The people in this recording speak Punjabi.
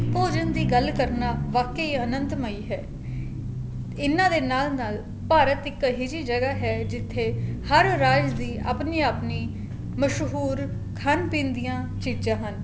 ਭੋਜਣ ਦੀ ਗੱਲ ਕਰਨਾ ਵਾਕਿਆ ਹੀ ਅਨੰਤ ਮਈ ਹੈ ਇਹਨਾ ਦੇ ਨਾਲ ਨਾਲ ਭਾਰਤ ਅਹੀ ਜੀ ਜਗ੍ਹਾ ਹੈਂ ਜਿੱਥੇ ਹਰ rise ਦੀ ਆਪਣੀ ਆਪਣੀ ਮਸ਼ਹੂਰ ਖਾਣ ਪੀਣ ਦੀਆਂ ਚੀਜ਼ਾਂ ਹਨ